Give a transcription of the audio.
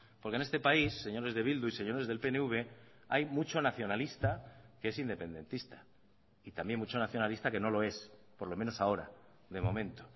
porque en este país señores de bildu y señores del pnv hay mucho nacionalista que es independentista y también mucho nacionalista que no lo es por lo menos ahora de momento